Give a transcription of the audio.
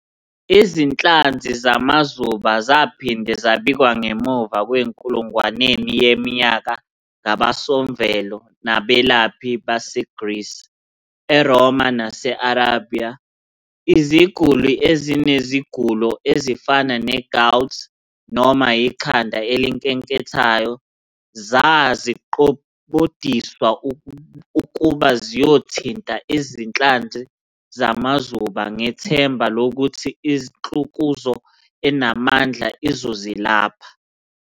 Izinhlanzi zamazuba zaphinde zabikwa ngemuva kwenkulungwaneni yeminyaka ngabosomvelo nabelaphi baseGrisi, eRoma nase-Arabiya. Iziguli ezinezigulo ezifana ne-"gout" noma ikhanda elinkenkethayo zzaziqobdiswa ukuba ziyothinta izinhlanzi zamazuba ngethemba lokuthi inhlukuzo enamandla izozilapha.